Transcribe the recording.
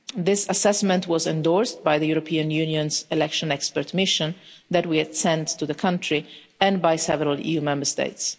This assessment was endorsed by the European Union's election expert mission that we had sent to the country, and by several EU Member States.